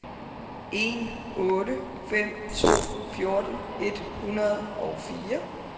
en otte fem to fjorten et hundrede og fire